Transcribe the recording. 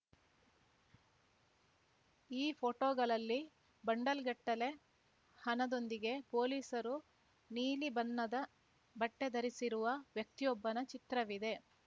ಈ ಪೋಟೋಗಳಲ್ಲಿ ಬಂಡಲ್‌ಗಟ್ಟಲೆ ಹಣದೊಂದಿಗೆ ಪೊಲೀಸರು ನೀಲಿ ಬಣ್ಣದ ಬಟ್ಟೆಧರಿಸಿರುವ ವ್ಯಕ್ತಿಯೊಬ್ಬನ ಚಿತ್ರವಿದೆ